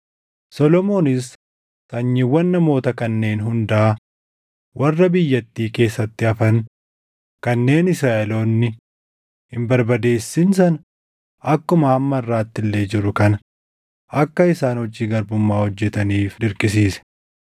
Solomoonis sanyiiwwan namoota kanneen hundaa warra biyyattii keessatti hafan kanneen Israaʼeloonni hin barbadeessin sana akkuma hamma harʼaatti illee jiru kana akka isaan hojii garbummaa hojjetaniif dirqisiise.